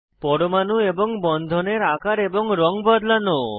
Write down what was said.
পরমাণু এবং বন্ধনের আকার এবং রঙ বদলানো